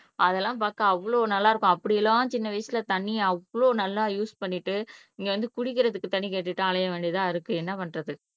அதெல்லாம் பார்க்க அவ்வளவு நல்லா இருக்கும் அப்படியெல்லாம் சின்ன வயசுல தண்ணி அவ்வளவு நல்லா யூஸ் பண்ணிட்டு இங்க வந்து குடிக்கிறதுக்கு தண்ணி கேட்டுட்டு அலைய வேண்டியதாயிருக்கு என்ன பண்றது